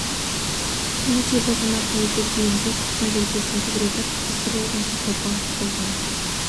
не де болса нар тәуекел дегендей құтпан желкесін күжірейтіп қасқыр ұлыған жақты бағып қалған